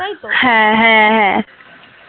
হ্যাঁ হ্যাঁ হ্যাঁ